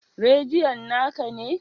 Radion na ka ne?